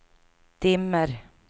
dimmer